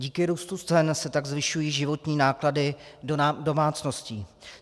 Díky růstu cen se tak zvyšují životní náklady domácností.